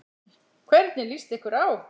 Hvernig lýst ykkur á?